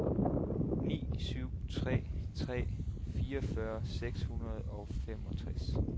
ni syv tre tre fireogfyrre seks hundrede og femogtres